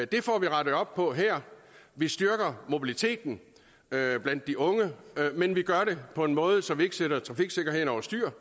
det får vi rettet op på her vi styrker mobiliteten blandt de unge men vi gør det på en måde så vi ikke sætter trafiksikkerheden over styr